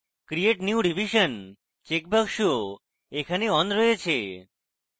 create new revision check box এখানে on রয়েছে